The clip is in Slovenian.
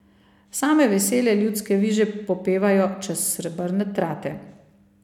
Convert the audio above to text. Same vesele ljudske viže popevajo čez srebrne trate.